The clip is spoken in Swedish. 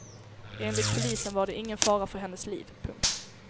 Enligt polisen var det ingen fara för hennes liv. punkt